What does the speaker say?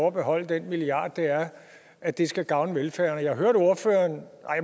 at beholde den milliard er at det skal gavne velfærden og jeg hørte ordføreren